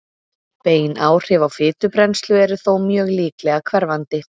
Bein áhrif á fitubrennslu eru þó mjög líklega hverfandi.